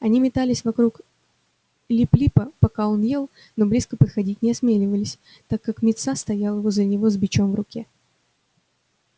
они метались вокруг лип липа пока он ел но близко подходить не осмеливались так как мит са стоял возле него с бичом в руке